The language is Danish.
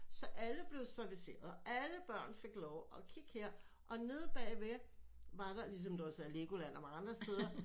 Så alle blev serviceret og alle børn fik lov og kig her og nede bag ved var der ligesom også Legoland som der var andre steder